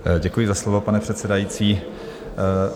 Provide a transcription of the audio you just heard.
Děkuji za slovo, pane předsedající.